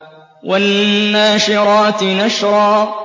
وَالنَّاشِرَاتِ نَشْرًا